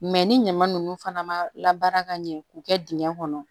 ni ɲama ninnu fana ma labaara ka ɲɛ k'u kɛ dingɛn kɔnɔ